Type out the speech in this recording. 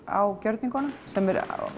á gjörningunum sem er